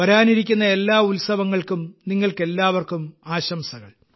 വരാനിരിക്കുന്ന എല്ലാ ഉത്സവങ്ങൾക്കും നിങ്ങൾക്കെല്ലാവർക്കും ആശംസകൾ